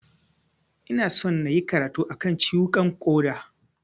Ina son nayi karatu a kan ciwukan ƙoda.